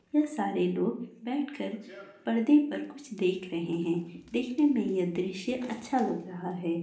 यह सारे लोग बैठ कर परदे पर कुछ देख रहे है देखने में यह दृश्य अच्छा लग रहा है।